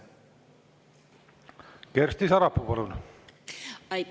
Kersti Sarapuu, palun!